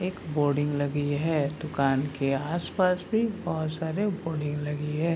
एक बोर्डिंग लगी है दुकान के आस-पास भी बहोत सारे बोर्डिंग लगी है।